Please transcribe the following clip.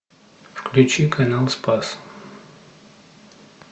включи канал спас